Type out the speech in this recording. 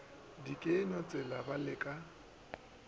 dikenywa tšela ba le ka